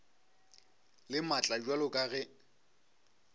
le maatla bjalo ka ge